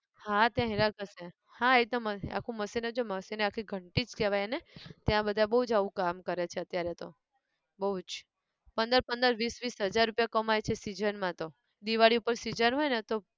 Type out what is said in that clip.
હા ત્યાં હીરા ઘસે, હા એતો machine આખું machine જ હોય machine એ આખી ઘંટી જ કહેવાય ને! ત્યાં બધા બઉ જ આવું કામ કરે છે અત્યારે તો, બઉ જ, પંદર પંદર વિસ વિસ હાજર રૂપિયા કમાય છે season માં તો, દિવાળી ઉપર season હોય ને તો